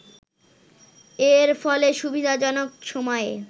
এর ফলে সুবিধাজনক সময়ে